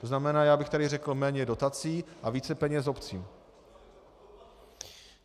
To znamená, já bych tady řekl - méně dotací a více peněz obcím.